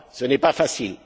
Ce n'est pas facile.